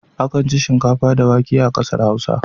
Akan ci shinkafa da wake a ƙasar Hausa.